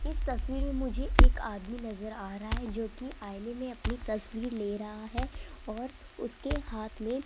इस तस्वीर में मुझे एक आदमी नजर आ रहा है जोकि आईने में अपनी तस्वीर ले रहा है और उसके हाथ में --